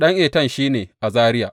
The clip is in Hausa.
Ɗan Etan shi ne, Azariya.